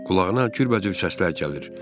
Qulağına cürbəcür səslər gəlir.